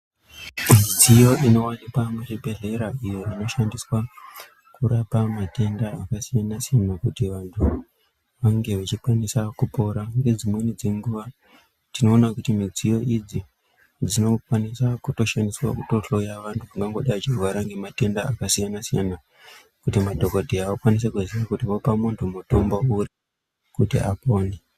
Midziyo iwanokwa muzvibhedhlera iyo inoshandiswa kurapa mathenda akasiyanasiyana kuti vanthu vange vechikwanisa kupora ngedzimweni dzenguwa tinoona kuti midziyo idzi dzinokwanisa kutoshandiswa kuhloya vanthu vangangodai vechirwara ngemathenda akasiyanasiyana kuti madhokodheya vakwanise kuziya kuti vopa munthu muthombo uri kuti apone.